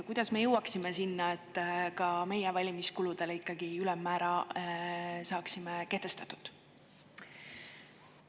Kuidas me jõuaksime sinna, et ka valimiskuludele ülemmäära saaksime kehtestatud?